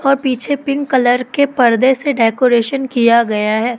और पीछे pink colour के पर्दे से डेकोरेशन किया गया है।